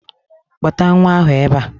Kpọta nwa ahụ ebe a!